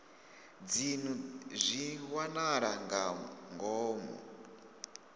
dzinnu zwi wanala nga ngomu